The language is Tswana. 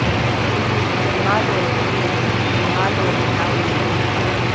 mmalooo weeee mmaloo nna weee